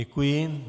Děkuji.